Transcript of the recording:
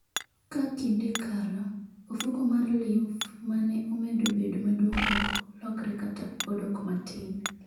Ka kinde kalo, ofuko mar lymph ma ne omedo bedo maduong' ok lokre kata odok matin.